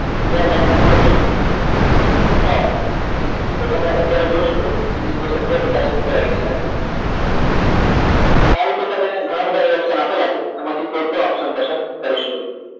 ત્યારબાદ બીજો option કે તમે અત્યારે જોય શકો છો કે જે શબ્દો હતા તે ઉપર આવી ગયા છે આ રીતે તમે ઘણા બધા એ option આપેલા છે એમાંથી કોઈ પણ option પસંદ કરી શકો છો